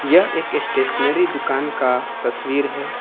यह एक स्टेशनरी दुकान का तस्वीर है।